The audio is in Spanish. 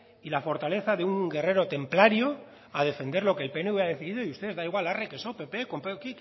y la fortaleza de un guerrero templario a defender lo que el pnv ha decidido y ustedes da igual arre que so pp pero